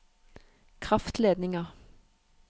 kraftledninger